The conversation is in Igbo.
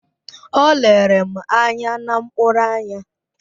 O lere m anya na mkpụrụ anya